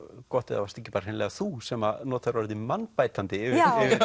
gott ef það varst ekki hreinilega þú sem að notaðir orðið mannbætandi yfir